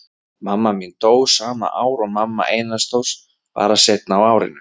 Mamma mín dó sama ár og mamma Einars Þórs, bara seinna á árinu.